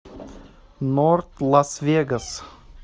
норт лас вегас